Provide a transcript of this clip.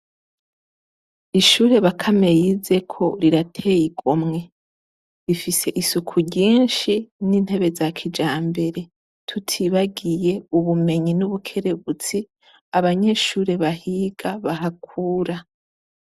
Ishure Bakame yizeko rirateyigomwe, rifis' isuku ryinshi n' intebe za kijambere, tutibagiy' ubumenyi n' ubukerebuts' abanyeshure bahiga bahakura.